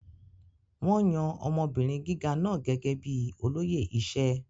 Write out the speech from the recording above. Wón yan ọmọbìnrin gíga náà gẹ́gẹ́ bíi olóyè iṣẹ́.